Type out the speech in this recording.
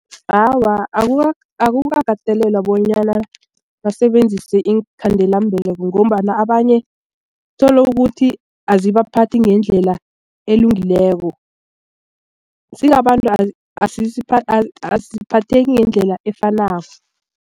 Awa, akukakatelelwa bonyana basebenzise iinkhandelambeleko ngombana abanye tholukuthi aziphathe ngendlela elungileko sibabantu asiphatheki ngendlela efanako.